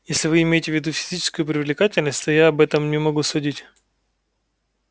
если вы имеете в виду физическую привлекательность то я об этом не могу судить